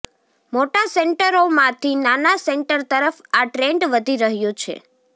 મોટા સેન્ટરોમાંથી નાના સેન્ટર તરફ આ ટ્રેન્ડ વધી રહ્યો છે